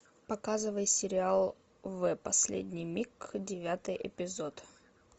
показывай сериал в последний миг девятый эпизод